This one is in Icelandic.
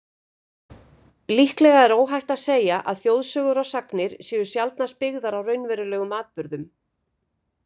Líklega er óhætt að segja að þjóðsögur og sagnir séu sjaldnast byggðar á raunverulegum atburðum.